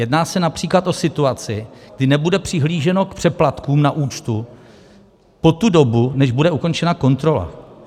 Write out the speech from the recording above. Jedná se například o situaci, kdy nebude přihlíženo k přeplatkům na účtu po tu dobu, než bude ukončena kontrola.